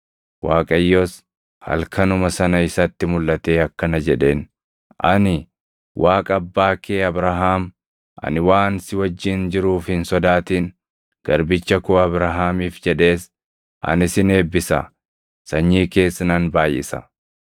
Waaqayyos halkanuma sana isatti mulʼatee akkana jedheen; “Ani Waaqa abbaa kee Abrahaam; ani waan si wajjin jiruuf hin sodaatin. Garbicha koo Abrahaamiif jedhees ani sin eebbisa; sanyii kees nan baayʼisa.”